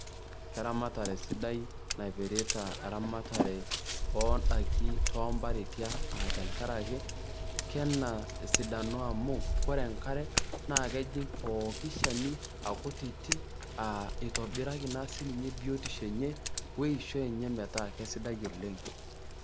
Keramatare sidai naipirta eramatare oondaiki toompareti ang', aa tenkarake kena esidano amu kore enkare naa kejing' pooki shani akutiti eitobiraki naa sii ninye biotisho enye weishoi enye metaa keisidai oleng'.